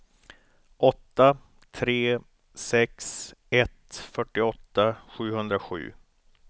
åtta tre sex ett fyrtioåtta sjuhundrasju